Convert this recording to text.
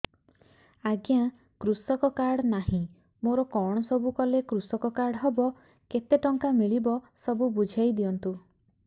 ଆଜ୍ଞା କୃଷକ କାର୍ଡ ନାହିଁ ମୋର କଣ ସବୁ କଲେ କୃଷକ କାର୍ଡ ହବ କେତେ ଟଙ୍କା ମିଳିବ ସବୁ ବୁଝାଇଦିଅନ୍ତୁ